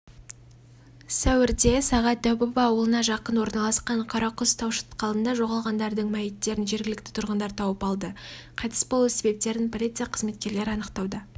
сәуірде сағат дәубаба ауылына жақын орналасқан қарақұс тау шатқалында жоғалғандардың мәйіттерін жергілікті тұрғындар тауып алды қайтыс болу себептерін полиция қызметкерлері анықтауда